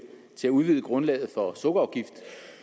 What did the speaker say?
til at udvide grundlaget for sukkerafgift